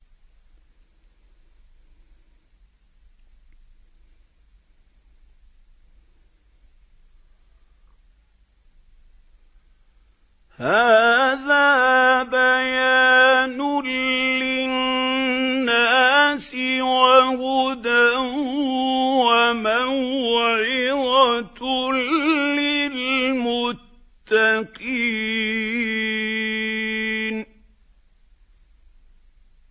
هَٰذَا بَيَانٌ لِّلنَّاسِ وَهُدًى وَمَوْعِظَةٌ لِّلْمُتَّقِينَ